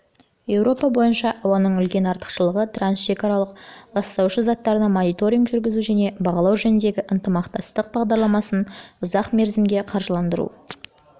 еуропа бойынша ауаның үлкен арақашықтықтағы трансшекаралық ластаушы заттарына мониторинг жүргізу және бағалау жөніндегі ынтымақтастық бағдарламасын ұзақ мерзімге қаржыландыру